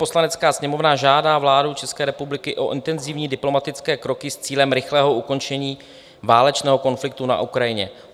"Poslanecká sněmovna žádá vládu České republiky o intenzivní diplomatické kroky s cílem rychlého ukončení válečného konfliktu na Ukrajině."